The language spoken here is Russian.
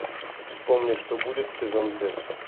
вспомни что будет сезон пять